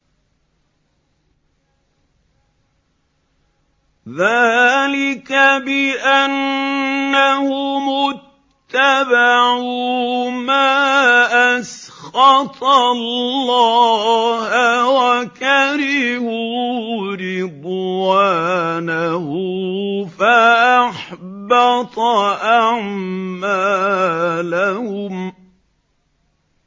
ذَٰلِكَ بِأَنَّهُمُ اتَّبَعُوا مَا أَسْخَطَ اللَّهَ وَكَرِهُوا رِضْوَانَهُ فَأَحْبَطَ أَعْمَالَهُمْ